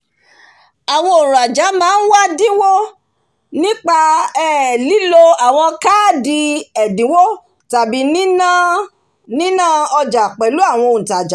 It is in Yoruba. àwon ònrajà máá n wá dìnwó nípa um lílo àwon káádì èdìnwó tàbí níná ojà pèlù àwon òntajà